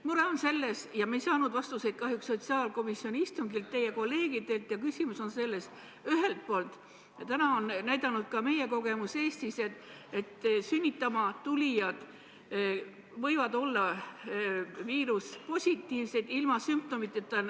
Mure on selles – ja me ei saanud vastuseid kahjuks sotsiaalkomisjoni istungil teie kolleegilt –, et ühelt poolt on näidanud ka meie kogemus Eestis, et sünnitama tulijad võivad olla viiruspositiivsed ilma sümptomiteta.